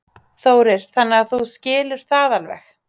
Þórir: Þannig að þú skilur það alveg?